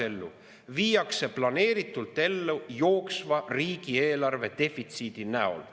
See viiakse planeeritult ellu jooksva riigieelarve defitsiidi näol.